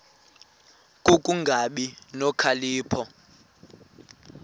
ku kungabi nokhalipho